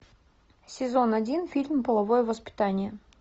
сезон один фильм половое воспитание